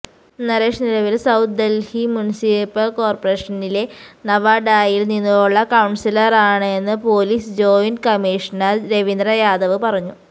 നരേഷ് നിലവില് south Delhi municipal കോര്പ്പറേഷനിലെ നവാഡായില് നിന്നുള്ള കൌണ്സിലറാണെന്ന് police joint commissioner Ravindra Yadav പറഞ്ഞു